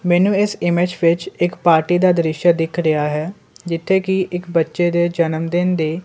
ਮੈਨੂੰ ਇਸ ਇਮੇਜ ਵਿੱਚ ਇੱਕ ਪਾਰਟੀ ਦਾ ਦ੍ਰਿਸ਼ਯ ਦਿੱਖ ਰਿਹਾ ਹੈ ਜਿੱਥੇ ਕੀ ਇੱਕ ਬੱਚੇ ਦੇ ਜਨਮਦਿਨ ਦੇ--